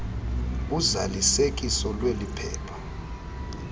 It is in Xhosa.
uzalisekiso lweli phepha